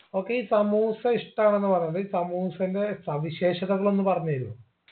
okay ഈ സമൂസ ഇഷ്ടാണെന്ന് പറഞ്ഞത് സമൂസന്റെ സവിശേഷതകൾ ഒന്ന് പറഞ്ഞു തരുവോ